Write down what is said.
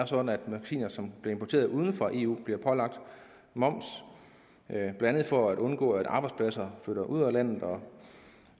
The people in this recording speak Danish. sådan at magasiner som bliver importeret uden for eu bliver pålagt moms blandt andet for at undgå at arbejdspladser flytter ud af landet og